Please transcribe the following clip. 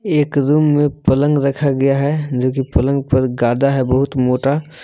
एक रूम में पलंग रखा गया है जो कि पलंग पर गद्दा है बहुत मोटा।